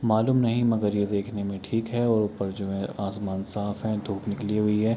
मालुम नहीं मगर ये देखने में ठीक है और ऊपर जो है आसमान साफ़ है धुप निकली हुई है ।